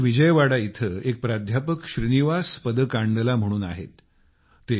आंध्र प्रदेशच्या विजयवाडा इथं एक प्राध्यापक श्रीनिवास पदकांडला म्हणून आहेत